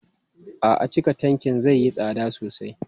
A'a, cika tankin zai yi tsada sosai.